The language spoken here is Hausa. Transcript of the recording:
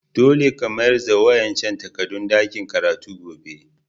Dolle ka mayars da wa'incan takadun dakin karatu gobe!